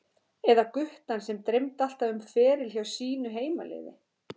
Eða guttann sem dreymdi alltaf um feril hjá sínu heimaliði?